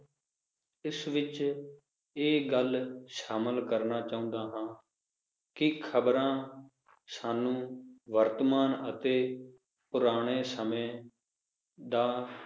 ਇਸ ਵਿਚ ਇਹ ਗੱਲ ਸ਼ਾਮਿਲ ਕਰਨਾ ਚਾਹੁੰਦਾ ਹਾਂ ਕਿ ਖਬਰਾਂ ਸਾਨੂੰ ਵਰਤਮਾਨ ਅਤੇ ਪੁਰਾਣੇ ਸਮੇ ਦਾ